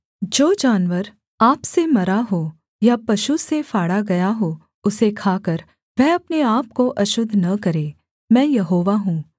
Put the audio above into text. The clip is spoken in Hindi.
जो जानवर आप से मरा हो या पशु से फाड़ा गया हो उसे खाकर वह अपने आपको अशुद्ध न करे मैं यहोवा हूँ